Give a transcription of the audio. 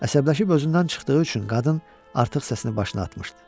Əsəbləşib özündən çıxdığı üçün qadın artıq səsini başına atmışdı.